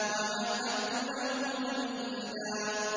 وَمَهَّدتُّ لَهُ تَمْهِيدًا